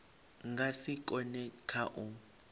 nga si kone kha u